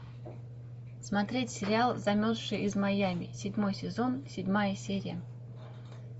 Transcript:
смотреть сериал замерзшая из майами седьмой сезон седьмая серия